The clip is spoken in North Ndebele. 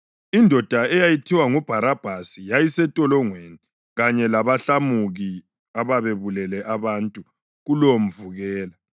Indoda eyayithiwa nguBharabhasi yayisentolongweni kanye labahlamuki ababebulele abantu kulowomvukela.